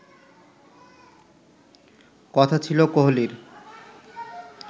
কথা ছিল কোহলির